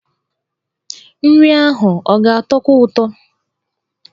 Nri ahụ ọ ga-atọkwu ụtọ?